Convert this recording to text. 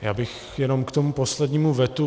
Já bych jenom k tomu poslednímu vetu.